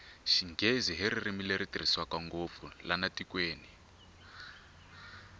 xinghezi hi ririmi leri tirhiswa ngopfu lana tikweni